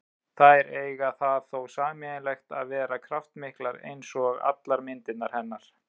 Þær eiga það þó sameiginlegt að vera kraftmiklar, eins og allar myndirnar hennar.